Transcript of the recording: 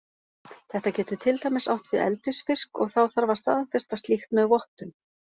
Þetta getur til dæmis átt við eldisfisk og þá þarf að staðfesta slíkt með vottun.